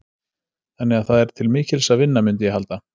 Þannig að það er til mikils að vinna, mundi ég halda.